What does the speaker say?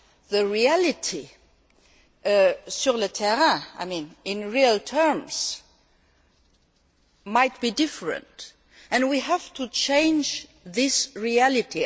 The reality sur le terrain in real terms might be different, and we have to change this reality.